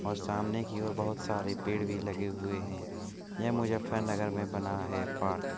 और सामने की और बहुत सारे पेड़ भी लगे हुए हैं | यह मुजफ्फरनगर में बना है पार्क |